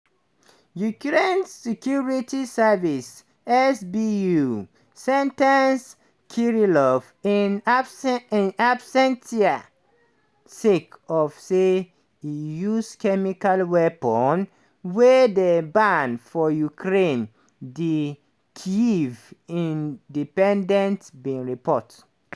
ukraine security service (sbu) sen ten ce kirillov in absen absentia sake of say e use chemical weapons wey dey banned for ukraine di kyiv independent bin report.